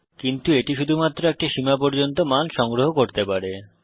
কিন্তু এটি শুধুমাত্র একটি সীমা পর্যন্ত মান সংগ্রহ করতে পারে